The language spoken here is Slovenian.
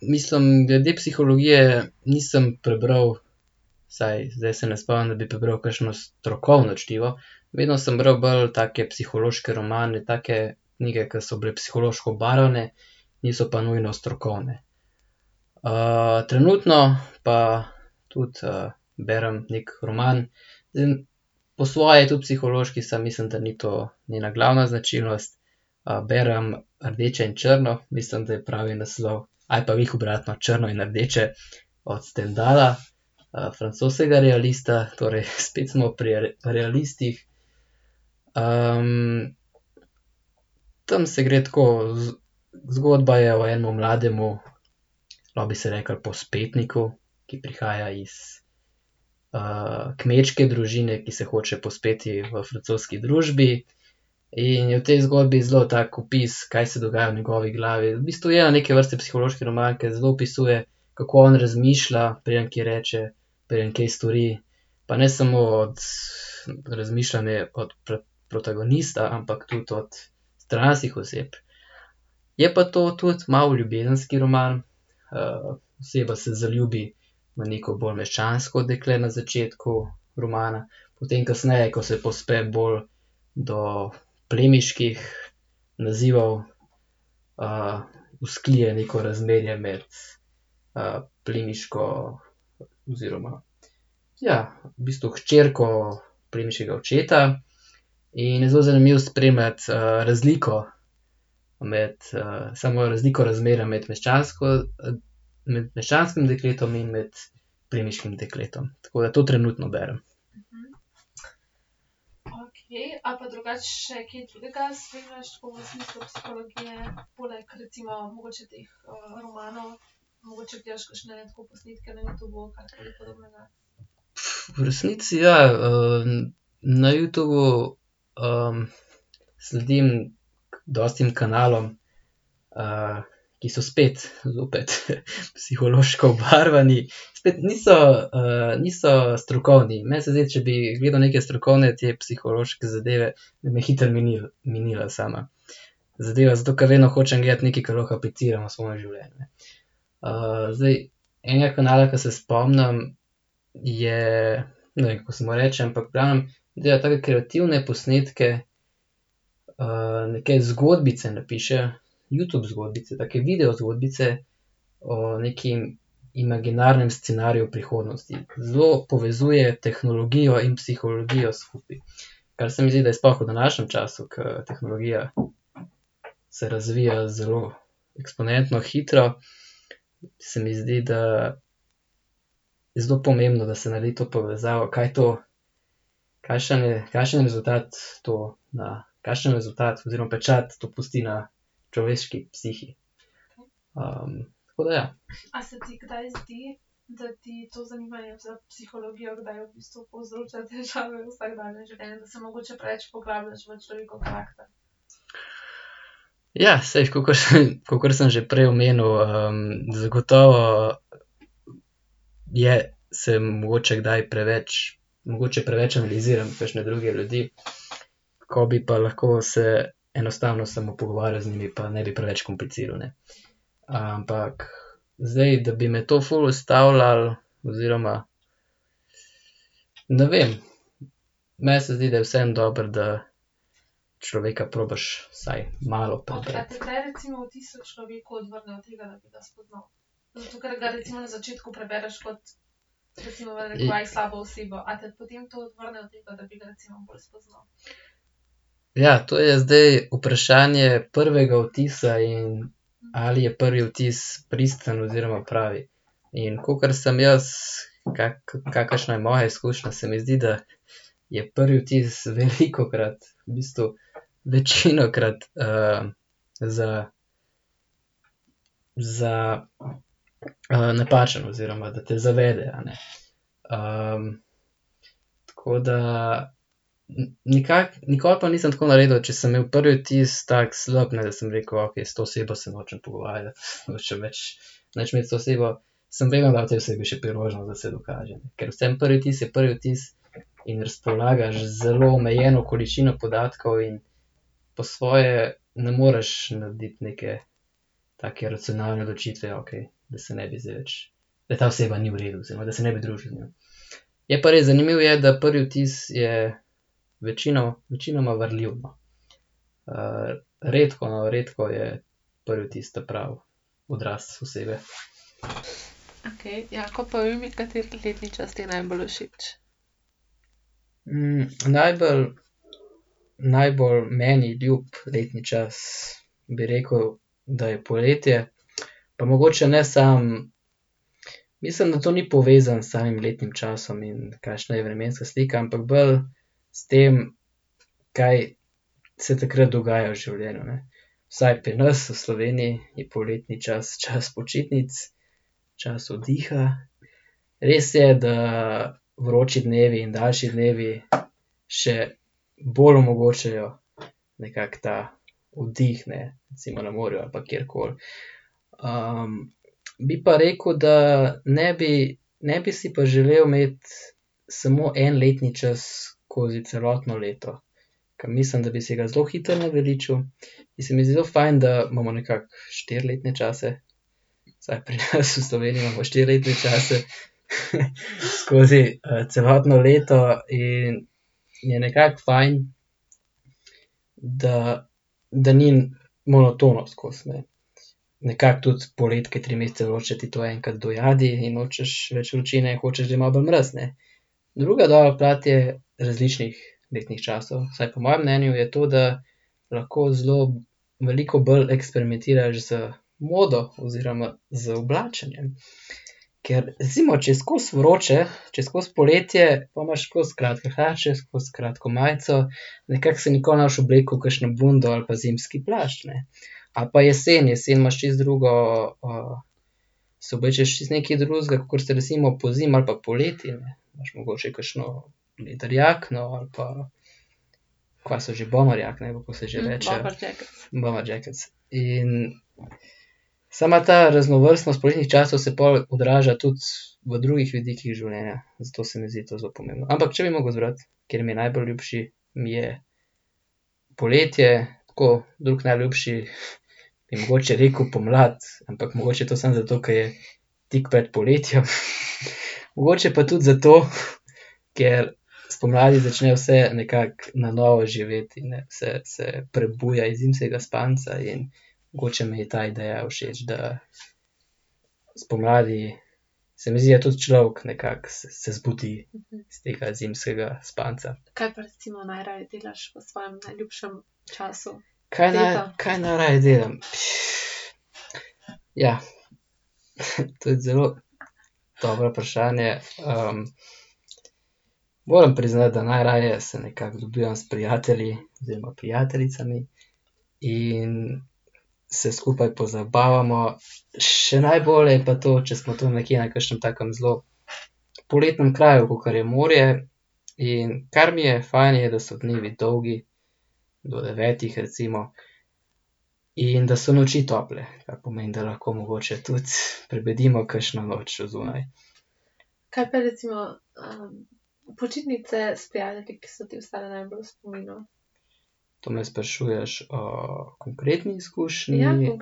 mislim, glede psihologije nisem prebral, vsaj zdaj se ne spomnim, da bi prebral kakšno strokovno čtivo, vedno samo bral bolj take psihološke romane, take knjige, ke so bile psihološko obarvane, niso pa nujno strokovne. trenutno pa tudi, berem neki roman, po svoje tudi psihološki, samo mislim, da ni to njena glavna značilnost. berem Rdeče in črno, mislim, da je pravi naslov, ali pa glih obratno, Črno in rdeče, od Stendhala, francoskega realista, torej spet smo pri realistih. tam se gre tako, zgodba je o enem mladem, lahko bi se reklo, povzpetniku, ki prihaja iz, kmečke družine, ki se hoče povzpeti v francoski družbi. In je v tej zgodbi zelo tako opis, kaj se dogaja v njegovi glavi, v bistvu, ja, neke vrste psihološki roman, ke zelo opisuje, kako on razmišlja, preden kaj reče, preden kaj stori. Pa ne samo od razmišljanje od protagonista, ampak tudi od stranskih oseb. Je pa to tudi malo ljubezenski roman, oseba se zaljubi v neko bolj meščansko dekle na začetku romana, potem kasneje, ko se povzpne bolj do plemiških nazivov, vzklije neko razmerje med, plemiško oziroma, ja, v bistvu hčerko plemiškega očeta. In je zelo zanimivo spremljati, razliko med, samo razliko razmerja med meščansko, med meščanskim dekletom in med plemiškim dekletom. Tako da to trenutno berem. V resnici ja, na Youtubu, sledim dosti kanalom, ki so spet, zopet, psihološko obarvani, spet niso, niso strokovni, meni se zdi, če bi gledal neke strokovne te psihološke zadeve, bi me hitro minila sama zadeva, zato ker vedno hočem gledati nekaj, ke lahko apliciram v svoje življenje. zdaj enega kanala, ke se spomnim, je, ne vem, kako se mu reče, ampak v glavnem, dela take kreativne posnetke, neke zgodbice napiše, Youtube zgodbice, take video zgodbice o nekem imaginarnem scenariju v prihodnosti, zelo povezuje tehnologijo in psihologijo skupaj, kar se mi zdi, da je sploh v današnjem času, ke tehnologija se razvija zelo eksponentno hitro, se mi zdi, da je zelo pomembno, da se naredi to povezavo, kaj to, kakšen je, kakšen rezultat to na, kakšen rezultat oziroma pečat to pusti na človeški psihi. tako da ja. Ja, saj, kakor sem, kakor sem že prej omenil, zagotovo je, se mogoče kdaj preveč, mogoče preveč analiziram kakšne druge ljudi, ko bi pa lahko se enostavno samo pogovarjal z njimi pa ne bi preveč kompliciral, ne. Ampak zdaj, da bi me to ful ustavljalo oziroma ... Ne vem. Meni se zdi, da je vseeno dobro, da človeka probaš vsaj malo . Ja, to je zdaj vprašanje prvega vtisa in ali je prvi vtis pristen oziroma pravi. In kakor sem jaz, kakršna je moja izkušnja, se mi zdi, da je prvi vtis velikokrat, v bistvu večinokrat, z ... Za ... napačen oziroma da te zavede, a ne. tako da nikoli pa nisem tako naredil, če sem imel prvi vtis tako slab, ne, da sem rekel: "Okej, s to osebo se nočem pogovarjati." Hočem reči, nič imeti z osebo. Sem vedno dal tej osebi še priložnost, da se dokaže, ker vseeno, prvi vtis je prvi vtis in razpolagaš z zelo omejeno količino podatkov in po svoje ne moreš narediti neke take racionalne odločitve, okej, da se ne bi zdaj več, da ta oseba ni v redu oziroma da se ne bi družil z njo. Je pa res, zanimivo je, da prvi vtis je večinoma varljiv, no. redko, no, redko je prvi vtis ta pravi odraz osebe. najbolj, najbolj meni ljub letni čas, bi rekel, da je poletje, pa mogoče ne samo. Mislim, da to ni povezano s samim letnim časom in kakšna je vremenska slika, ampak bolj s tem, kaj se takrat dogaja v življenju, ne. Vsaj pri nas v Sloveniji je poletni čas čas počitnic, čas oddiha, res je, da vroči dnevi in daljši dnevi še bolj omogočajo nekako ta oddih, ne, recimo na morju ali pa kjerkoli. bi pa rekel, da ne bi, ne bi si pa želel imeti samo en letni čas skozi celotno leto. Ker mislim, da bi se ga zelo hitro naveličal, in se mi zdi zelo fajn, da imamo nekako štiri letne čase, vsaj pri nas v Sloveniji imamo štiri letne čase skozi, celotno leto, in je nekako fajn, da, da ni monotono skozi, ne. Nekako tudi poleti, ke je tri mesece vroče, ti to enkrat dojadi in nočeš več vročine, hočeš, da je malo bolj mraz, ne. Druga dobra plat je, različnih letnih časov, vsaj po mojem mnenju je to, da lahko zelo veliko bolj eksperimentiraš z modo oziroma z oblačenjem. Ker recimo, če je skozi vroče, če je skozi poletje, po imaš skozi kratke hlače, skozi kratko majico, nekako se nikoli ne boš oblekel v kakšno bundo ali pa zimski plašč, ne. Ali pa jesen, jesen imaš čisto drugo, si oblečeš čisto nekaj drugega, kakor se recimo pozimi ali pa poleti, imaš mogoče kakšno jakno ali pa kva so že, bomber jakne, ali kako se že reče. Bomber jackets. In sama ta raznovrstnost poletnih časov se pol odraža tudi v drugih vidikih življenja, zato se mi zdi to zelo pomembno, ampak če bi mogel izbrati, kateri mi je najbolj ljubši, mi je poletje, tako, drugi najljubši, bi mogoče rekel pomlad, ampak mogoče to samo zato, ker je tik pred poletjem, . Mogoče pa tudi zato, ker spomladi začne vse nekako na novo živeti, ne, vse se prebuja iz zimskega spanca in mogoče mi je ta ideja všeč, da spomladi, se mi zdi, da tudi človek nekako se zbudi iz tega zimskega spanca. Kaj kaj najraje delam? Ja. Tudi zelo dobro vprašanje, moram priznati, da najraje se nekako dobivam s prijatelji oziroma prijateljicami in se skupaj pozabavamo. Še najbolje je pa to, če smo tam nekje na kakšnem takem zelo poletnem kraju, kakor je morje, in kar mi je fajn, je, da so dnevi dolgi, do devetih recimo, in da so noči tople, kar pomeni, da lahko mogoče tudi prebedimo kakšno noč odzunaj. To me sprašuješ o konkretni izkušnji ali ...